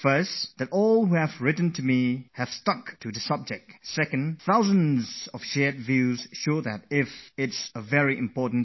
First, those who have written to me have a good grip on the subject; and, second, the sheer volume of the response to my request shows dealing with exams is an extremely important matter